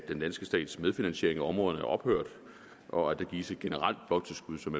den danske stats medfinansiering af områderne er ophørt og at der gives et generelt bloktilskud som